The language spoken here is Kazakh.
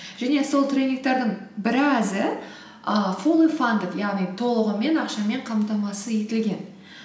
және сол тренингтердің біразы ііі фулли фандед яғни толығымен ақшамен қамтамасыз етілген